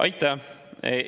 Aitäh!